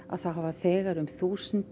hafa þegar um þúsund